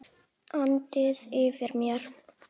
andi yfir mér.